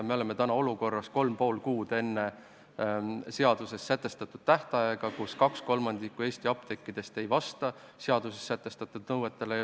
Me oleme täna, kolm ja pool kuud enne seaduses sätestatud tähtaega olukorras, kus 2/3 Eesti apteekidest ei vasta seaduses sätestatud nõuetele.